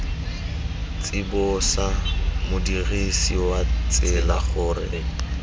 tsibosa modirisi wa tsela gore